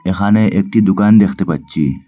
এখানে একটি দুকান দেখতে পাচ্চি।